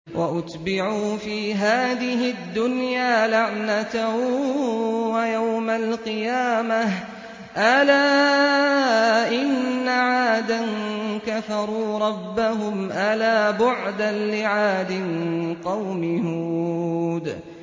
وَأُتْبِعُوا فِي هَٰذِهِ الدُّنْيَا لَعْنَةً وَيَوْمَ الْقِيَامَةِ ۗ أَلَا إِنَّ عَادًا كَفَرُوا رَبَّهُمْ ۗ أَلَا بُعْدًا لِّعَادٍ قَوْمِ هُودٍ